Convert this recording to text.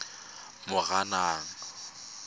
moranang